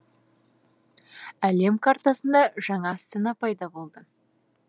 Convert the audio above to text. әлем картасында жаңа астана пайда болды